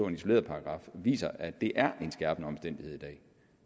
en isoleret paragraf viser at det er en skærpende omstændighed i dag